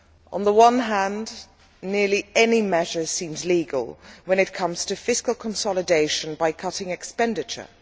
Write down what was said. On the one hand, nearly any measure seems legal when it comes to fiscal consolidation by cutting expenditure.